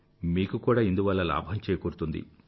మీకు కూడా ఇందువల్ల లాభం చేకూరుతుంది